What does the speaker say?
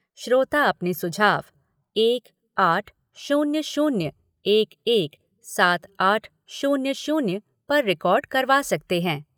श्रोता अपने सुझाव एक आठ शून्य शून्य एक एक सात आठ शून्य शून्य पर रिकार्ड करवा सकते हैं।